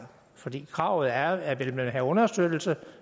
fordi kravet er at vil man have understøttelse